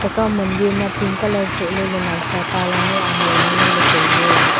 tekaw mandir ma nawsa e pink colour soh ley ley tai ley.